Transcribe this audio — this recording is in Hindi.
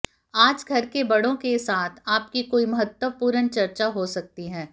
आज घर के बड़ों के साथ आपकी कोई महत्वपूर्ण चर्चा हो सकती है